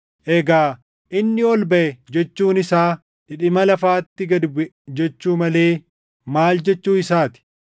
Egaa, “Inni ol baʼe” jechuun isaa dhidhima lafaatti gad buʼe jechuu malee maal jechuu isaa ti?